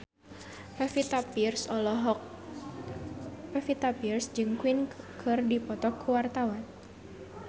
Pevita Pearce jeung Queen keur dipoto ku wartawan